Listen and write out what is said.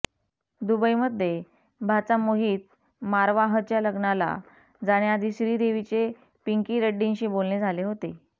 दुबईमध्ये भाचा मोहित मारवाहच्या लग्नाला जाण्याआधी श्रीदेवीचे पिंकी रेड्डींशी बोलणे झाले होते